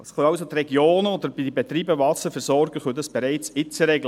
Das können also die Regionen oder die Betreiber der Wasserversorgungen bereits jetzt regeln.